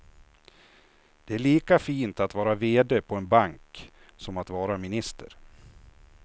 Det är lika fint att vara vd på en bank som att vara minister.